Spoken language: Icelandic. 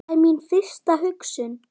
Það er mín fyrsta hugsun.